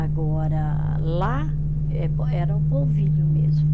Agora, lá é, era o polvilho mesmo.